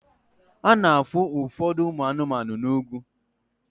A na-ahụ ụfọdụ ụmụ anụmanụ n'ugwu